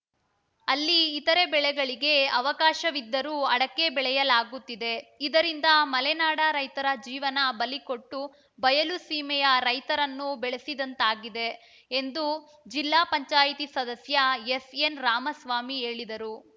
ಅಲ್ಲಿ ಇತರೆ ಬೆಳೆಗಳಿಗೆ ಅವಕಾಶವಿದ್ದರೂ ಅಡಕೆ ಬೆಳೆಯಲಾಗುತ್ತಿದೆ ಇದರಿಂದ ಮಲೆನಾಡ ರೈತರ ಜೀವನ ಬಲಿಕೊಟ್ಟು ಬಯಲುಸೀಮೆಯ ರೈತನನ್ನು ಬೆಳೆಸಿದಂತಾಗಿದೆ ಎಂದು ಜಿಲ್ಲಾ ಪಂಚಾಯತಿ ಸದಸ್ಯ ಎಸ್‌ಎನ್‌ ರಾಮಸ್ವಾಮಿ ಹೇಳಿದರು